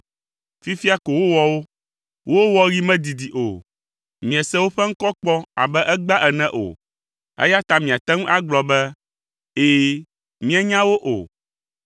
Fifia ko wowɔ wo. Wo wɔɣi medidi o. Miese woƒe ŋkɔ kpɔ abe egbea ene o, eya ta miate ŋu agblɔ be, ‘Ɛ̃ mienya wo’ o.